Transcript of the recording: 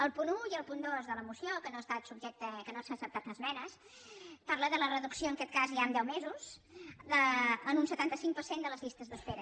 el punt un i el punt dos de la moció que no s’han acceptat esmenes parlen de la reducció en aquest cas ja en deu mesos en un setanta cinc per cent de les llistes d’espera